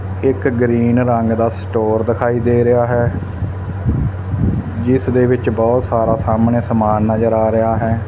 ਇੱਕ ਗ੍ਰੀਨ ਰੰਗ ਦਾ ਸਟੋਰ ਦਿਖਾਈ ਦੇ ਰਿਹਾ ਹੈ ਜਿਸ ਦੇ ਵਿੱਚ ਬਹੁਤ ਸਾਰਾ ਸਾਹਮਣੇ ਸਮਾਨ ਨਜ਼ਰ ਆ ਰਿਹਾ ਹੈ।